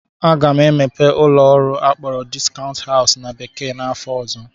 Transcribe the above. Aga m emepe ụlọ ọrụ akpọrọ "discount house" na bekee n'afọ ọzọ